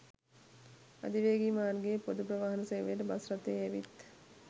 අධිවේගී මාර්ගයේ ‍පොදු ප්‍රවාහන සේවයට බස් රථයේ ඇවිත්